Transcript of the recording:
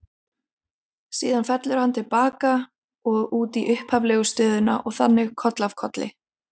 Síðan fellur hann til baka og út í upphaflegu stöðuna og þannig koll af kolli.